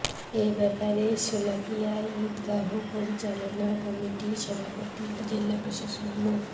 এ ব্যাপারে শোলাকিয়া ঈদগাহ পরিচালনা কমিটির সভাপতি ও জেলা প্রশাসক মো